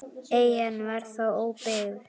Eyjan var þá óbyggð.